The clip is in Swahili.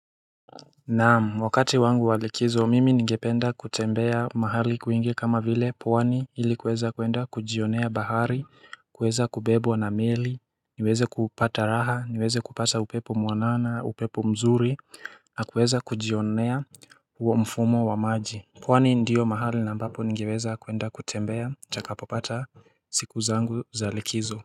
Naamu wakati wangu walikizo mimi ningependa kutembea mahali kuingi kama vile pwani hili kuweza kuenda kujionea bahari kuweza kubebwa na meli niweze kupata raha niweze kupata upepo muanana upepo mzuri na kuweza kujionea uomfumo wa maji pwani ndiyo mahali na mbapo nigeweza kuenda kutembea chakapopata siku zangu zalikizo.